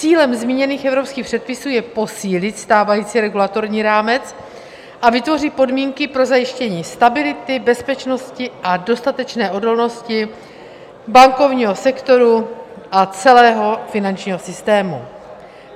Cílem zmíněných evropských předpisů je posílit stávající regulatorní rámec a vytvořit podmínky pro zajištění stability, bezpečnosti a dostatečné odolnosti bankovního sektoru a celého finančního systému.